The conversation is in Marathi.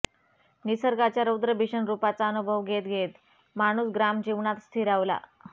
निसर्गाच्या रौद्रभीषण रूपाचा अनुभव घेत घेत माणूस ग्रामजीवनात स्थिरावला